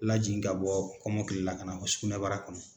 Lajigin ka bɔ kɔmɔkili la ka na fɔ sugunɛbara kɔnɔ.